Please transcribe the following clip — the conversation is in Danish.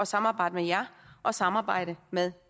samarbejde med jer og samarbejde med